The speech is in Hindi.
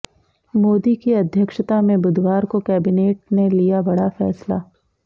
मोदी की अध्यक्षता में बुधवार को कैबिनेट ने लिया बड़ा फैसला